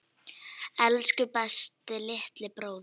Elsku besti litli bróðir.